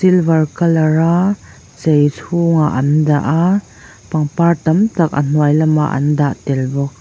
silver color a chei chhungah an dah a pangpar tam tak a hnuai lamah an dah tel bawk.